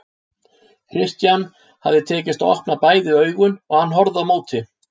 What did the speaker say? Christian hafði tekist að opna bæði augun og hann horfði á móti.